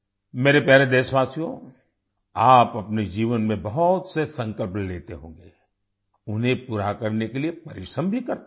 मेरे प्यारे देशवासियो आप अपने जीवन में बहुत से संकल्प लेते होंगे उन्हें पूरा करने के लिए परिश्रम भी करते होंगे